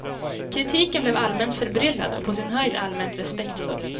Kritiken blev allmänt förbryllad och på sin höjd allmänt respektfull.